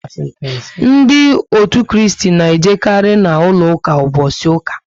Ndị òtù Kristi na ejekari na úlọ ụka mbosi uka